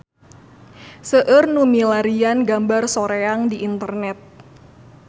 Seueur nu milarian gambar Soreang di internet